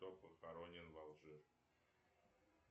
кто похоронен в алжир